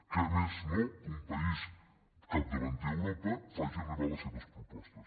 què més no que un país capdavanter a europa faci arribar les seves propostes